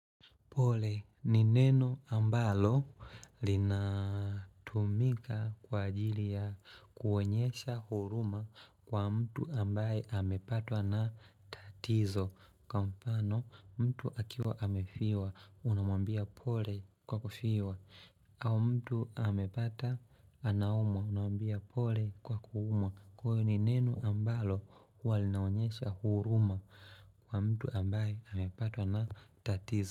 Pole ni neno ambalo linatumika kwa ajili ya kuonyesha huruma kwa mtu ambaye amepatwa na tatizo Kwa mfano mtu akiwa amefiwa unamwambia pole kwa kufiwa au mtu amepata anaumwa unamambia pole kwa kuuma Kwa hiyo ni neno ambalo huwa linaonyesha huruma kwa mtu ambaye amepatwa na tatizo.